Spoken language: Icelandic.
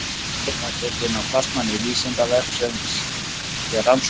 Myndin var tekin af starfsmanni Vísindavefsins við rannsóknir.